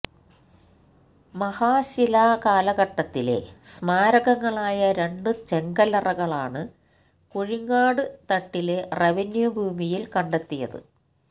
മഹാശിലാ കാലഘട്ടത്തിലെ സ്മാരകങ്ങളായ രണ്ടു ചെങ്കല്ലറകളാണ് കുഴിങ്ങാട് തട്ടിലെ റവന്യൂ ഭൂമിയിയില് കണ്ടെത്തിയത്